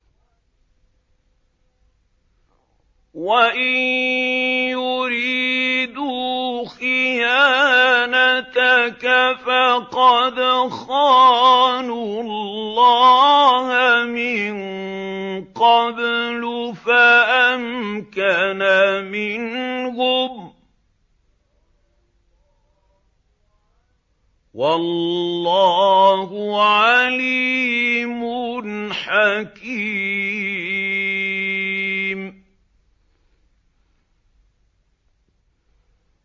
وَإِن يُرِيدُوا خِيَانَتَكَ فَقَدْ خَانُوا اللَّهَ مِن قَبْلُ فَأَمْكَنَ مِنْهُمْ ۗ وَاللَّهُ عَلِيمٌ حَكِيمٌ